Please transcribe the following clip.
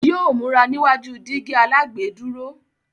Yóò múra níwájú dígí alágbèédúró.